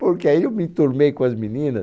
Porque aí eu me entornei com as meninas.